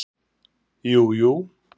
Jú jú